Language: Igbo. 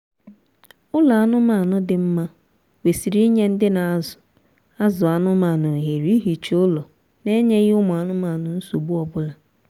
ụlọ anụmaanụ dị mma kwesịrị inye ndị na azụ azụ anụmaanụ ohere ihicha ụlọ n'enyeghị ụmụ anụmanụ nsogbu ọbụla